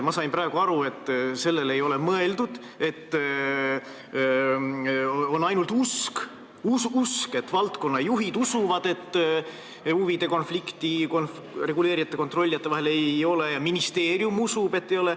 Ma sain praegu aru, et sellele ei ole mõeldud, vaid on ainult usk, valdkonnajuhid usuvad, et reguleerijate ja kontrollijate vahel huvide konflikti ei ole, ja ministeerium usub, et ei ole.